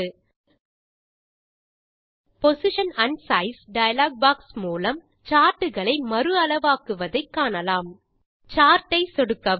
அடுத்து position and size dialog box மூலம் chart களை மறு அளவாக்குவதை காணலாம் சார்ட் ஐ சொடுக்கவும்